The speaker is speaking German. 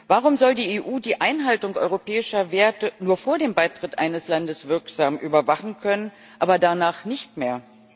Warum soll die EU die Einhaltung europäischer Werte nur vor dem Beitritt eines Landes wirksam überwachen können, aber danach nicht mehr?